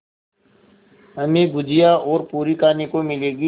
हमें गुझिया और पूरी खाने को मिलेंगी